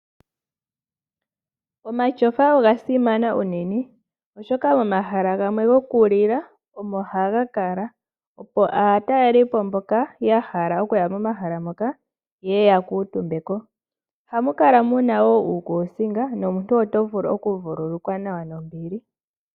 Omatyofa oga simana unene, oshoka momahala gamwe gokulila omo haga kala, opo aatalelipo mboka ya hala okukala momahala moka ye ye ya kuutumbe ko. Ohamu kala mu na wo uukuusinga nomuntu oto vulu okuvululukwa nawa nombili.